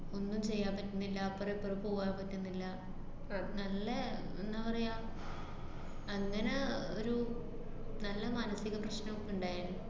ഒന്നും ചെയ്യാന്‍ പറ്റുന്നില്ല, അപ്പറോമിപ്പറോം പൂവാന്‍ പറ്റുന്നില്ല, ആഹ് നല്ല എന്നാ പറയാ, അങ്ങനെ ഒരു നല്ല മാനസിക പ്രശ്നോക്കെ ഇണ്ടായേനു.